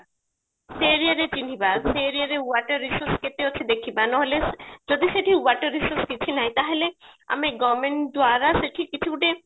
ସେ aria ରେ ଛିହ୍ନିବା ସେ aria ରେ water resource କେତେ ଅଛି ଦେଖିବା ନହେଲେ ଯଦି ସେଠି water resource କିଛି ନାହିଁ ତାହେଲେ ଆମେ government ଦ୍ଵାରା ସେଠି ଗୋଟେ